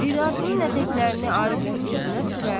Ridasının ətəklərini Arifin üzünə sürər.